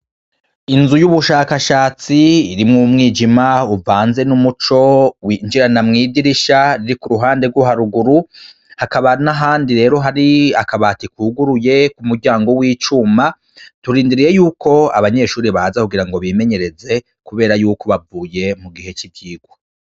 Inzu y'ubushakashatsi irimwo umwijima uvanze n'umuco winjirana mwidirisha riri ku ruhande rw'haruguru hakabana handi rero hari akabati kuguruye ku muryango w'icuma turindiriye yuko abanyeshuri baza kugira ngo bimenyereze, kubera yuko bavuye mu gihe c'ivyirwa.